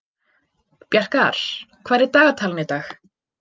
Bjarkar, hvað er í dagatalinu í dag?